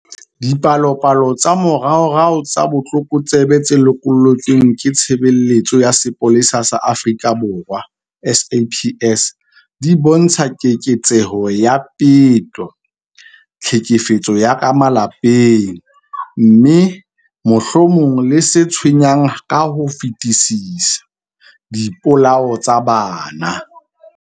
Dipalopalo tsa moraorao tsa botlokotsebe tse lokollotsweng ke Tshebeletso ya Sepolesa sa Afrika Borwa, SAPS, di bontsha keketseho ya peto, tlhekefetso ya ka malapeng, mme, mohlomong le se tshwenyang ka ho fetisisa, dipolao tsa bana.